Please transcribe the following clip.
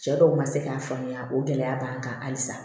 Cɛ dɔw ma se k'a faamuya o gɛlɛya b'an kan halisa